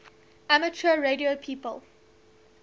amateur radio people